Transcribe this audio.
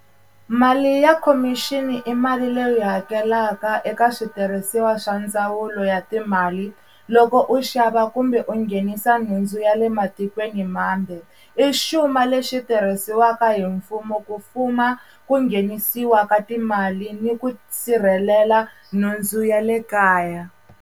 Mali ya khomixini i mali leyi hakelaka eka switirhisiwa swa ndzawulo ya timali loko u xava kumbe u nghenisa nhundzu ya le matikweni mambe i xuma lexi tirhisiwaka hi mfumo ku fuma ku nghenisiwa ka timali ni ku sirhelela nhundzu ya le kaya.